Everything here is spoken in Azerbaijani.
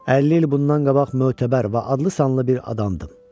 50 il bundan qabaq mötəbər və adlı-sanlı bir adamdım.